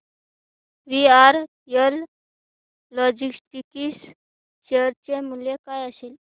VRL logistics share चे मूल्य काय असेल